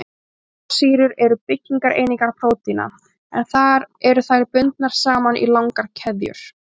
Amínósýrur eru byggingareiningar prótína, en þar eru þær bundnar saman í langar keðjur.